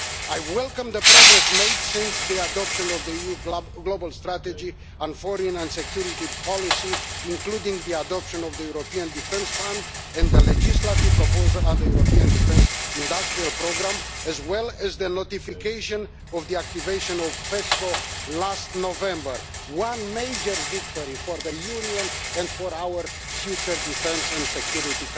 I welcome the progress made since the adoption of the EU Global Strategy on Foreign and Security policy, including the adoption of the European Defence Fund and the legislative proposal on the European defence industrial programme, as well as the notification of the activation of PESCO last November, which is a major victory for the Union and for our future defence and security